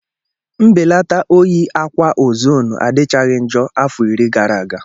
Mbelata oyi akwa ozonu adịchaghị njọ afọ iri gara aga.